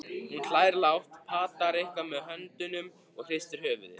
Hún hlær lágt, patar eitthvað með höndunum og hristir höfuðið.